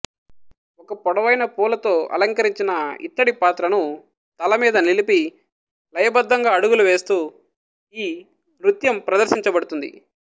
ఒక పొడవైన పూలతో అలంకరించిన ఇత్తడి పాత్రను తలమీద నిలిపి లయబద్ధంగా అడుగులు వేస్తూ ఈ నృత్యం ప్రదర్శించబడుతుంది